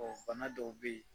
Ɔ fana dɔw bɛ yen